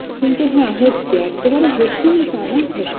কিন্তু হ্যাঁ হচ্ছে একেবারে হচ্ছে না তানা হচ